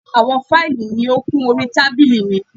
Àwọn fáìlì ni ó kún orí tábílì mi.